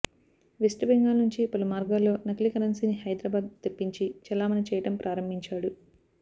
west Bengal నుంచి పలు మార్గాల్లో నకిలీ కరెన్సీని హైదరాబాద్ తెప్పించి చెలామణి చేయటం ప్రారంభించాడు